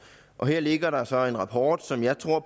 her ligger der så en rapport som jeg tror